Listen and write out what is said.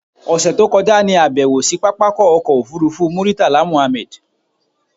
ọ̀ṣẹ̀ tó kọjá ní àbẹ̀wò sí pápákọ̀ ọkọ̀ òfurufú Murtala Mohammed.